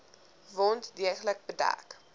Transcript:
wond deeglik bedek